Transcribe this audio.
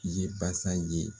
I ye basa ye